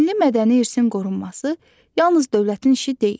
Milli mədəni irsin qorunması yalnız dövlətin işi deyil.